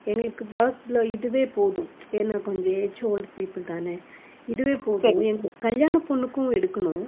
எங்களுக்கு work ல இதுவே போதும் ஏன்னா கொஞ்சம் age old people தானே இதுவே போதும் கல்யாண பொண்ணுக்கும் எடுக்கணும்